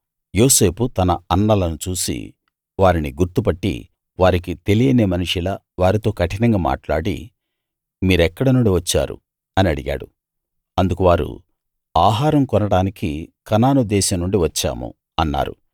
యోసేపు తన అన్నలను చూసి వారిని గుర్తు పట్టి వారికి తెలియని మనిషిలా వారితో కఠినంగా మాట్లాడి మీరెక్కడనుండి వచ్చారు అని అడిగాడు అందుకు వారు ఆహారం కొనడానికి కనాను దేశం నుండి వచ్చాము అన్నారు